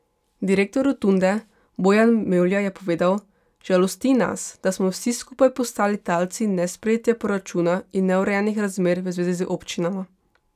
Direktor Rotunde, Bojan Mevlja je povedal: 'Žalosti nas, da smo vsi skupaj postali talci nesprejetja proračuna in neurejenih razmer v zvezi z občinama.